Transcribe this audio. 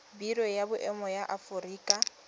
biro ya boemo ya aforika